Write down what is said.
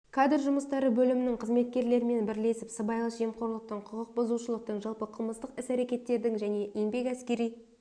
кадр жұмыстары бөлімінің қызметкерлерімен бірлесіп сыбайлас жемқорлықтың құқық бұзушылықтың жалпы қылмыстық іс-әрекеттердің және еңбек әскери